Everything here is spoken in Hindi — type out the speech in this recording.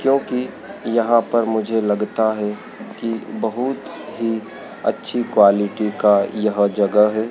जो की यहां पर मुझे लगता है की बहुत ही अच्छी क्वालिटी का यह जगह है।